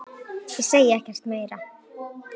Ég segi ekkert meira.